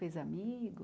Fez amigos?